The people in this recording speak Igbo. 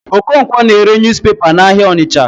Okonkwo na-ere newspaper n'ahịa Ọnịcha.